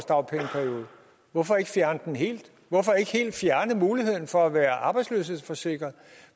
dagpengeperiode hvorfor ikke fjerne den helt hvorfor ikke helt fjerne muligheden for at være arbejdsløshedsforsikret